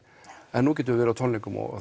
en nú getum við verið á tónleikum og